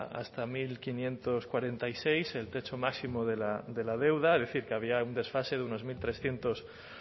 hasta mil quinientos cuarenta y seis el techo máximo de la deuda es decir que había un desfase de unos mil trescientos